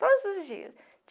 Todos os dias.